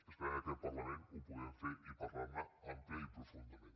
esperem que aquest parlament ho puguem fer i parlar ne àmpliament i profundament